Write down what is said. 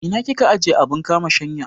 Ina kika ajiye abun kama shanya?